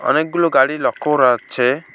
অনেকগুলো গাড়ি লক্ষ্য করা যাচ্ছে।